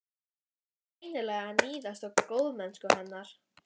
Þú ert greinilega að níðast á góðmennsku hennar.